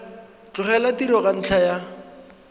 tlogela tiro ka ntlha ya